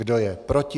Kdo je proti?